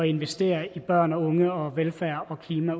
investere i børn og unge og velfærd og klima